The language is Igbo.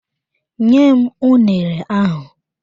Nyem unere ahụ!